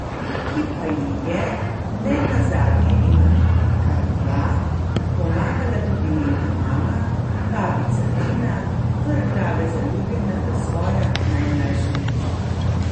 Ki pa ji je, ne nazadnje ima kar dva, pomagala tudi njena mama, babica Tina, vrh glave zaljubljena v svoja najmlajša vnučka.